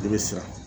I bɛ siran